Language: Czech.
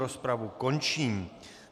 Rozpravu končím.